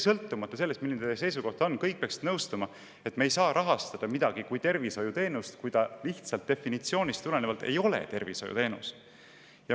Sõltumata sellest, milline on kellegi seisukoht, peaksid kõik nõustuma sellega, et me ei saa rahastada midagi kui tervishoiuteenust, kui see definitsioonist tulenevalt ei ole tervishoiuteenus.